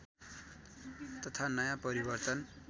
तथा नयाँ परिवर्तन